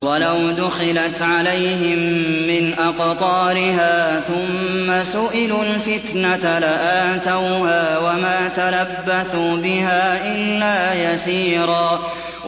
وَلَوْ دُخِلَتْ عَلَيْهِم مِّنْ أَقْطَارِهَا ثُمَّ سُئِلُوا الْفِتْنَةَ لَآتَوْهَا وَمَا تَلَبَّثُوا بِهَا إِلَّا يَسِيرًا